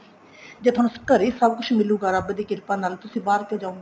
ਜੇ ਤੁਹਾਨੂੰ ਘਰੇ ਹੀ ਸਭ ਕੁੱਝ ਮਿਲੁਗਾ ਰੱਬ ਦੀ ਕਿਰਪਾ ਨਾਲ ਤੁਸੀਂ ਬਾਹਰ ਕਿਉਂ ਜਾਉਂਗੇ